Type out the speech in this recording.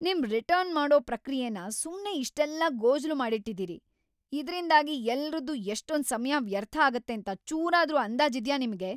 ನಿಮ್ ರಿಟರ್ನ್ ಮಾಡೋ ಪ್ರಕ್ರಿಯೆನ ಸುಮ್ನೆ ಇಷ್ಟೆಲ್ಲ ಗೋಜಲು ಮಾಡಿಟ್ಟಿದೀರಿ, ಇದ್ರಿಂದಾಗಿ ಎಲ್ರದ್ದೂ ಎಷ್ಟೊಂದ್ ಸಮಯ ವ್ಯರ್ಥ ಆಗತ್ತೇಂತ ಚೂರಾದ್ರೂ ಅಂದಾಜಿದ್ಯಾ ನಿಮ್ಗೆ?!